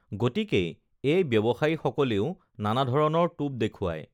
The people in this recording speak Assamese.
গতিকেই এই ব্য‌ৱসায়ীসকলেও নানাধৰণৰ টো‌প দেখু‌ৱাই